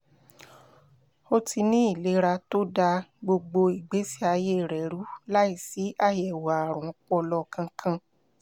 ó ti ní ìlera tó da gbogbo ìgbésí ayé rẹ̀ rú láìsí àyẹ̀wò ààrùn ọpọlọ kankan